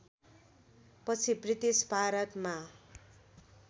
पछि ब्रिटिस भारतमा